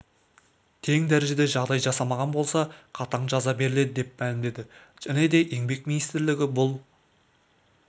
тең дәрежеде жағдай жасамаған болса қатаң жаза беріледі деп мәлімдеді және де еңбек министрлігі бұл